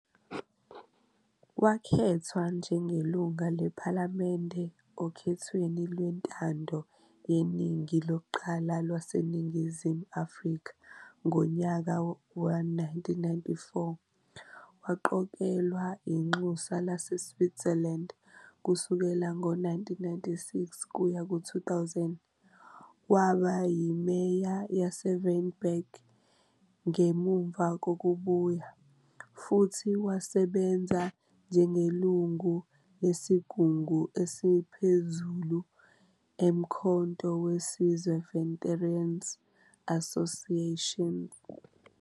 Wakhethwa njengelungu lePhalamende okhethweni lwentando yeningi lokuqala lwaseNingizimu Afrika ngonyaka we-1994, waqokelwa inxusa laseSwitzerland kusuka ngo-1996 kuya ku-2000, waba yimeya yaseVryburg ngemuva kokubuya, futhi wasebenza njengelungu lesigungu esiphezulu eMkhonto weSizwe Veteran's Association.